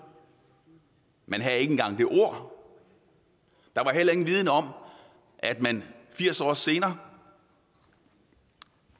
man havde ikke engang det ord der var heller ingen viden om at man firs år senere